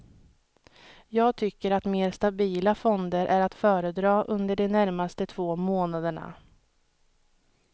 Jag tycker att mer stabila fonder är att föredra under de närmaste två månaderna.